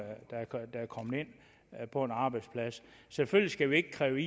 der er på en arbejdsplads selvfølgelig skal vi ikke kræve